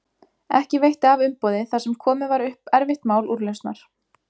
Ekki veitti af umboði þar sem komið var upp erfitt mál úrlausnar.